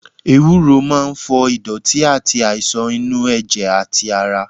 Ewuro máa ń fọ ìdọ̀tí àti àìsàn inú ẹ̀jẹ̀ àti ara.